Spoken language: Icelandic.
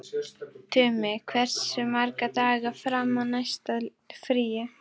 Tumi, hversu margir dagar fram að næsta fríi?